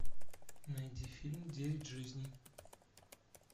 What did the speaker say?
найди фильм девять жизней